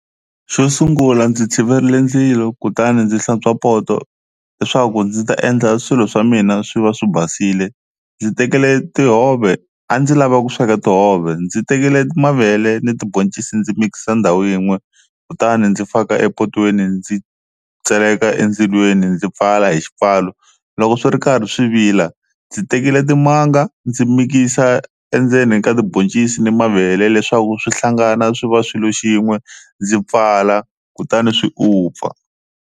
Xo sungula ndzi tshiverile ndzilo kutani ndzi hlantswa poto leswaku ndzi ta endla swilo swa mina swi va swi basile, ndzi tekile tihove a ndzi lava ku sweka tihove ndzi tekile mavele ni tiboncisi ndzi mikisa ndhawu yin'we kutani ndzi faka epatwini ndzi tseleka endzilweni ndzi pfala hi xipfalo, loko swi ri karhi swi vila ndzi tekile timanga ndzi mikisa endzeni ka tiboncisi ni mavele leswaku swi hlangana swi va swilo xin'we ndzi pfala kutani swi u pfa.